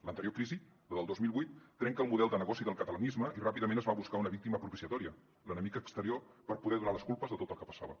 l’anterior crisi la del dos mil vuit trenca el model de negoci del catalanisme i ràpidament es busca una víctima propiciatòria l’enemic exterior per poder donar les culpes de tot el que passava